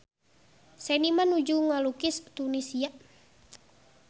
Seniman nuju ngalukis Tunisia